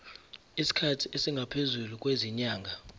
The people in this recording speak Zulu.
isikhathi esingaphezulu kwezinyanga